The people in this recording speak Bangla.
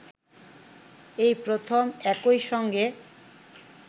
এই প্রথম একই সঙ্গে